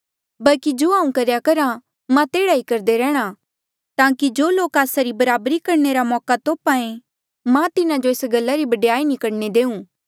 बल्की जो हांऊँ करेया करहा मां तेह्ड़ा ई करदे रैंह्णां ताकि जो लोक आस्सा री बराबरी करणे रा मौका तोप्हा ऐें मां तिन्हा जो एस गल्ला री बडयाई नी करणे देऊँ